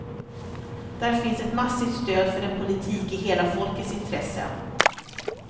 Där finns ett massivt stöd för en politik i hela folkets intresse.